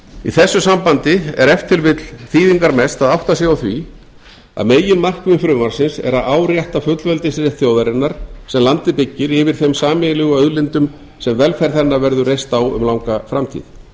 í þessu sambandi er ef til vill þýðingarmest að átta sig á því að meginmarkmið frumvarpsins er að árétta fullveldisrétt þjóðarinnar sem landið byggir yfir þeim sameiginlegu auðlindum sem velferð hennar verður reist á um langa framtíð